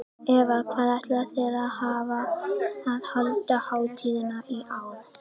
Eva, hvar ætlið þið að halda hátíðina í ár?